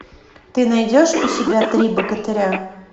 ты найдешь у себя три богатыря